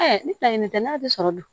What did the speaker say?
ni planɲinin tɛ n'a tɛ sɔrɔ dun